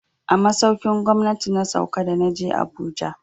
A masaukin gwamnati na sauka da na je Abuja.